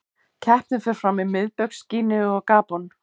Keppnin fer fram í Miðbaugs Gíneu og Gabon.